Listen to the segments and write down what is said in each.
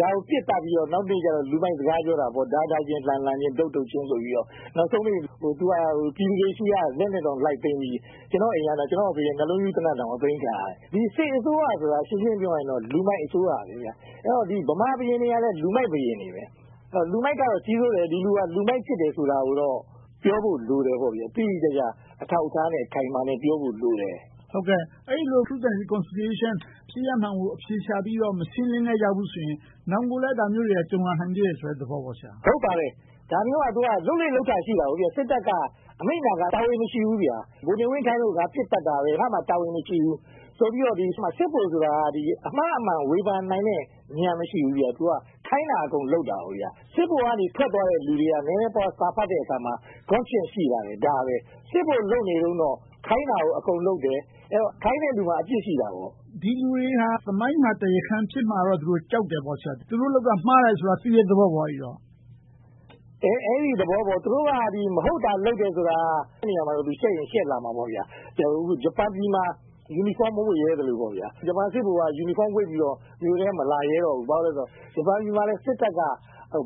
ဒါကို ပစ်သတ်ပြီးတော့ နောက်နေ့ကြတော့ လူမိုက်စကားပြောတာပေါ့။ ဒါးဒါးချင်း လှံလှံချင်း တုတ်တုတ်ချင်း ဆိုပြီးတော့ နောက်ဆုံးပိတ် ပြည်သူတွေဆီက လက်နက်တွေ လိုက်သိမ်းပြီး ကျနော့်အိမ်က ကျနော့်အဖေရဲ့ နှစ်လုံးပြူးသေနတ်တောင် အသိမ်းခံရတယ်။ စစ်အစိုးရဆိုတာက ရှင်းရှင်းပြောရရင် လူမိုက်အစိုးရ။ ဗမာဘုရင်တွေကလည်း လူမိုက်ဘုရင်တွေပဲ။ လူမိုက်က ကြီးစိုးတယ်။ ဒီလူဟာ လူမိုက်ဖြစ်တယ်ဆိုတာကိုတော့ ပြောဖို့လိုတယ်။ တိတိကျကျ အထောက်အထားနဲ့ အခိုင်အမာ ပြောဖို့လိုတယ်။ အဲဒီလို Truth and Reconciliation ဖြစ်ရပ်မှန်ကို အဖြေရှာပြီးတော့ မရှင်းလင်းခဲ့ကြဘူးဆိုရင် နောင်ကိုလဲ ဒါမျိုးတွေ ကြုံရနိုင်သေးတယ်ဆိုတဲ့ သဘောပေါ့။ ဟုတ်ပါတယ်။ ဒါမျိုးက လုပ်လေ့လုပ်ထ ရှိတာကို။ စစ်တပ်က အမိန့်နာခံပြီး တာဝန်မရှိဘူး။ ဗိုလ်နေဝင်း ခိုင်းလို့ ပစ်သတ်တာ။ ငါ့မှာ တာဝန်မရှိဘူးဆိုပြီးတော့ စစ်ဗိုလ်ဆိုတာ အမှားအမှန် ဝေဖန်နိုင်တဲ့ ဉာဏ်မရှိဘူး။ သူက ခိုင်းတာအကုန်လုပ်တာ။ စစ်ဗိုလ်က ထွက်သွားတဲ့လူတွေရဲ့ နည်းနည်းပါးပါး စာဖတ်တဲ့အခါမှာ Conscious ရှိလာတယ်။ ဒါပဲ။ စစ်ဗိုလ်လုပ်နေတုန်းတော့ ခိုင်းတာကို အကုန်လုပ်တယ်။ အဲဒီတော့ ခိုင်းတဲ့လူမှာ အပြစ်ရှိတာပေါ့။ ဒီလူတွေက သမိုင်းမှာ တရားခံ ဖြစ်မှာတော့ သူတို့ ကြောက်တာပေါ့။ သူတို့လုပ်တာ မှားတယ်လို့ သိတဲ့သဘောပေါ့။ အဲဒီ သဘောပေါ့။ သူတို့က မဟုတ်တာ လုပ်တယ်ဆိုတာ အဲဒီနေရာမှာ ရှက်ရင်ရှက်လာမှာပေါ့။ ဂျပန်ပြည်မှာ ယူနီဖောင်း မဝတ်ရဲသလို။ ဂျပန်စစ်ဗိုလ်က ယူနီဖောင်းဝတ်ပြီးတော့ မြို့ထဲ မလာရဲတော့ဘူး။ ဘာဖြစ်လို့လဲဆိုတော့ ဂျပန်ပြည်မှာ စစ်တပ်က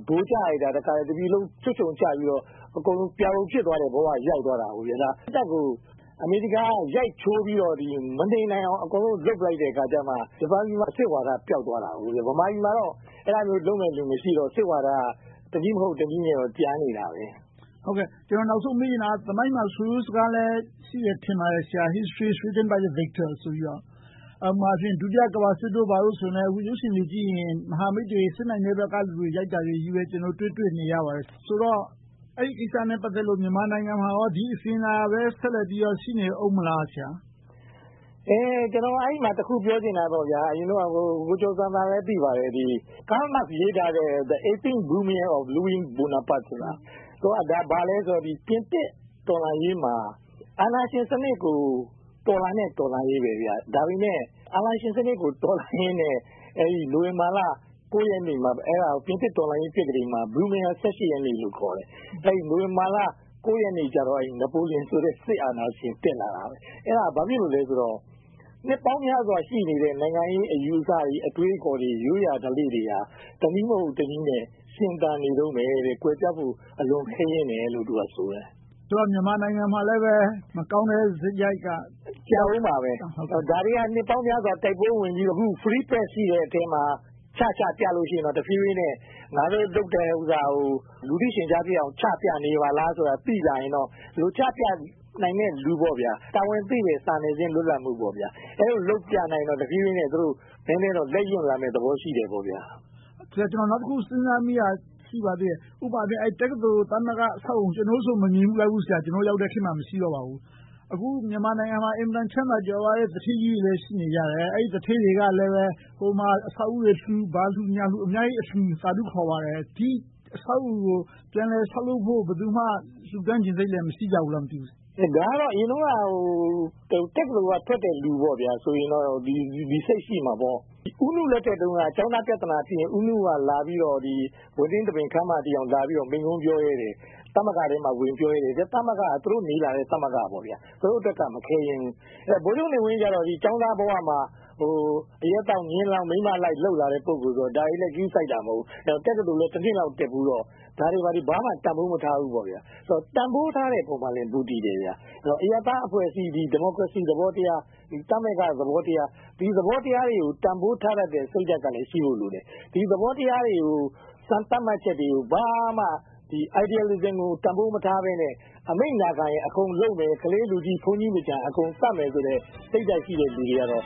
ဗိုလ်ကျလိုက်တာ တပြည်လုံး ချွတ်ခြုံကျပြီးတော့ အကုန်လုံး ပြာပုံဖြစ်သွားတဲ့ ဘဝရောက်သွားတာကို။ စစ်တပ်ကို အမေရိကန်က ရိုက်ချိုးပြီးတော့ မနေနိုင်အောင် လုပ်လိုက်တဲ့အခါကြမှ ဂျပန်ပြည်မှာ စစ်ဝါဒ ပျောက်သွားတာ။ ဗမာပြည်မှာတော့ အဲဒီလိုမျိုး လုပ်မယ့်လူ မရှိတော့ စစ်ဝါဒက တနည်းမဟုတ် တနည်းနဲ့တော့ ကျန်နေတာ။ ကျနော် နောက်ဆုံး မေးချင်တာက သမိုင်းမှာ ဆိုရိုးစကားလဲ ရှိမယ်ထင်ပါတယ်။ History is written by the victors ဆိုပြီးတော့။ ဥပမာ ဒုတိယ ကမ္ဘာစစ်တို့ ဘာတို့ဆိုရင်လဲ ရုပ်ရှင်တွေကြည့်ရင် မဟာမိတ်တွေ စစ်နိုင်တဲ့ဘက်ကလူတွေ ရိုက်တာတွေပဲ တွေ့နေရတယ်။ ဆိုတော့ အဲဒီကိစ္စနဲ့ ပတ်သက်လို့ မြန်မာနိုင်ငံမှာ ဒီအစဉ်အလာပဲ ဆက်လက်ပြီးတော့ ရှိနေအုံးမလား။ ကျနော် အဲဒီမှာ တခုပြောချင်တာက ကိုကျော်ဇံသာလည်း သိပါတယ်။ Karl Marx ရေးထားတဲ့ 18th Brumaire of Louis Bonaparte ဆိုတာ။ အဲဒါ ဘာလဲဆိုတော့ ပြင်သစ်တော်လှန်ရေးမှာ အာဏာရှင်စနစ်ကို တော်လှန်တဲ့ တော်လှန်ရေး။ ဒါပေမဲ့ အာဏာရှင်စနစ်ကို တော်လှန်ရင်းနဲ့ နိုဝင်ဘာလ ရက်နေ့မှာ ပြင်သစ်တော်လှန်ရေး ပြက္ခဒိန်မှာ Brumaire ရက်နေ့လို့ ခေါ်တယ်။ နိုဝင်ဘာလ ရက်နေ့ကျတော့ နပိုလီယန် ဆိုတဲ့ စစ်အာဏာရှင် တက်လာခဲ့တယ်။ အဲဒါ ဘာဖြစ်လို့လဲဆိုတော့ နှစ်ပေါင်းများစွာ ရှိနေတဲ့ နိုင်ငံရေးအယူအဆတွေ၊ အတွေးအခေါ်တွေ၊ ရိုးရာဓလေ့တွေက တနည်းမဟုတ် တနည်းနဲ့ ရှင်သန်နေတုန်းပဲ။ ကွယ်ပျောက်ဖို့ အလွန်ခဲယဉ်းတယ်လို့ သူကဆိုတယ်။ မြန်မာနိုင်ငံမှာလည်း မကောင်းတဲ့စရိုက်က… ကြာအုံးမှာပဲ။ ဒါတွေက နှစ်ပေါင်းများစွာ တိုက်ပွဲဝင်ပြီးတော့ Free press ရှိတဲ့အထဲမှာ ချချပြရင်တော့ တဖြည်းဖြည်းနဲ့ ငါတို့လုပ်တဲ့ဥစ္စာကို လူသိရှင်ကြားဖြစ်အောင် ချပြနေပါလားဆိုတာကို သိလာရင်တော့။ ဒီလို ချပြနိုင်မယ့်လူ၊ တာဝန်သိတဲ့ စာနယ်ဇင်း လွတ်လပ်မှု။ အဲဒီလိုမျိုး လုပ်ပြနိုင်ရင်တော့ တဖြည်းဖြည်းနဲ့ သူတို့ လက်ရွံလာမယ့် သဘောရှိတယ်။ ကျနော် နောက်တခု စဉ်းစားမိတာက ဥပမာ တက္ကသိုလ်သမဂ္ဂ အဆောက်အအုံ။ ကျနော်တို့ဆို မမြင်ဘူးလိုက်ဘူး။ ကျနော်တို့ ရောက်တဲ့ခေတ်မှာ မရှိတော့ပါဘူး။ အခု မြန်မာနိုင်ငံမှာ အင်မတန် ချမ်းသာကြွယ်ဝတဲ့ သူဌေးကြီးတွေလည်း ရှိနေကြတယ်။ အဲဒီ သူဌေးတွေက ဟိုမှာ အဆောက်အဦးတွေလှူ။ ဘာလှူညာလှူ အများကြီးလှူ သာဓုခေါ်ပါတယ်။ ဒီအဆောက်အဦးကို ပြန်လည်ဆောက်လုပ်ဖို့ ဘယ်သူမှ လှူတန်းချင်စိတ် မရှိကြဘူးလား။ ဒါကတော့ အရင်တုန်းက တက္ကသိုလ်ကထွက်တဲ့ လူဆိုရင်တော့ ဒီစိတ်ရှိမှာပေါ့။ ဦးနုလက်ထက်တုန်းက ကျောင်းသားပြဿနာဖြစ်ရင် ဦးနုက လာပြီးတော့ ဘွဲ့နှင်းသဘင်ခန်းမထိ လာပြီးတော့ မိန့်ခွန်းပြောရဲတယ်။ သမဂ္ဂထဲမှာ ဝင်ပြောရဲတယ်။ သမဂ္ဂက သူတို့နေလာတဲ့ သမဂ္ဂ။ သူတို့အတွက်က မခဲယဉ်းဘူး။ ဗိုလ်ချုပ်နေဝင်းကြတော့ ကျောင်းသားဘဝမှာ အရက်သောက်၊ မြင်းလောင်း၊ မိန်းမလိုက် လုပ်လာတဲ့ပုဂ္ဂိုလ်ဆိုတော့ ဒါတွေကို ဂရုစိုက်တာ မဟုတ်ဘူး။ တက္ကသိုလ်လည်း တနှစ်လောက် တက်ဖူးတော့ ဒါတွေကို ဘာမှတန်းဖိုးမထားဘူး။ တန်းဖိုးထားတဲ့ပေါ်မှာလည်း မူတည်ပါတယ်။ အရပ်သားအဖွဲ့အစည်း ဒီမိုကရေစီသဘောတရား၊ သမဂ္ဂ သဘောတရား။ ဒီသဘောတရားတွေကို တန်းဖိုးထားတတ်တဲ့ စိတ်ဓါတ်ကလည်း ရှိဖို့လိုတယ်။ ဒီသဘောထားတွေကို စံသတ်မှတ်ချက်တွေကို ဘာမှ idealism ကို တန်းဖိုးမထားဘဲနဲ့ အမိန့်နာခံရင် အကုန်လုပ်မယ်၊ ခလေး၊ လူကြီး၊ ဘုန်းကြီးမကျန် အကုန်သတ်မယ်ဆိုတဲ့ စိတ်ဓါတ်ရှိတဲ့ လူတွေကတော့